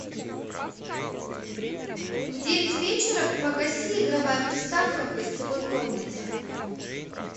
в девять вечера погаси игровая приставка в гостевой комнате